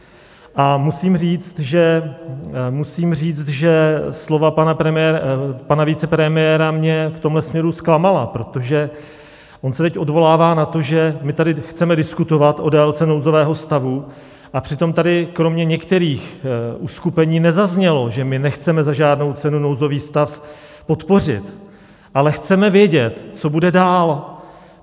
A musím říct, že slova pana vicepremiéra mě v tomhle směru zklamala, protože on se teď odvolává na to, že my tady chceme diskutovat o délce nouzového stavu, a přitom tady kromě některých uskupení nezaznělo, že my nechceme za žádnou cenu nouzový stav podpořit, ale chceme vědět, co bude dál.